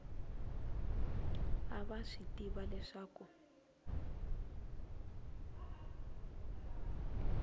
a va swi tiva leswaku